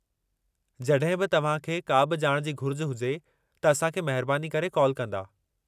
जॾहिं बि तव्हां खे का बि ॼाण जी घुरिज हुजे त असां खे महिरबानी करे कॉल कंदा।